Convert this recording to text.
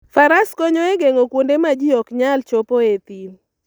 Faras konyo e geng'o kuonde ma ji ok nyal chopoe e thim.